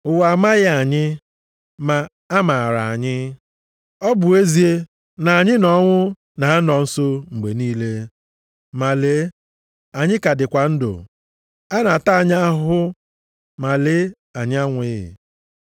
Ụwa amaghị anyị, ma a maara anyị. Ọ bụ ezie na anyị na ọnwụ na-anọ nso mgbe niile, ma lee anyị ka dịkwa ndụ. A na-ata anyị ahụhụ, ma lee anyị anwụghị.